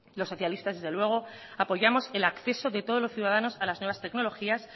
los socialistas desde luego apoyamos el acceso de todos los ciudadanos a las nuevas tecnologías